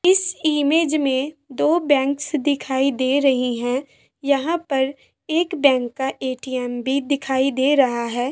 इस इमेंज में दो बैंक्स दिखाई दे रही हैं यहाँ पर एक बैंक का ए.टी.एम. भी दिखाई दे रहा है।